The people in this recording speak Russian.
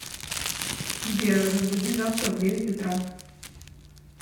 сбер разбуди завтра в девять утра